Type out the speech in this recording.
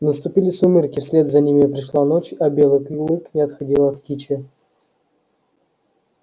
наступили сумерки вслед за ними пришла ночь а белый клык не отходил от кичи